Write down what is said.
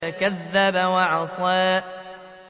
فَكَذَّبَ وَعَصَىٰ